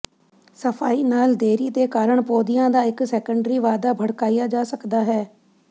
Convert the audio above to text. ਸਫਾਈ ਨਾਲ ਦੇਰੀ ਦੇ ਕਾਰਨ ਪੌਦਿਆਂ ਦਾ ਇੱਕ ਸੈਕੰਡਰੀ ਵਾਧਾ ਭੜਕਾਇਆ ਜਾ ਸਕਦਾ ਹੈ